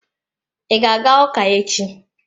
I ga-aga ụka echi?